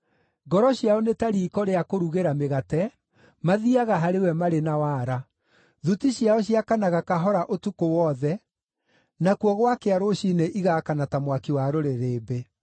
Ngoro ciao nĩ ta riiko rĩa kũrugĩra mĩgate; mathiiaga harĩ we marĩ na waara. Thuti ciao ciakanaga kahora ũtukũ wothe; nakuo gwakĩa rũciinĩ igaakana ta mwaki wa rũrĩrĩmbĩ.